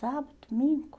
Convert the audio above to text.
Sábado, domingo.